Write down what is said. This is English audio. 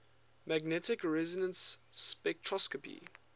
magnetic resonance spectroscopy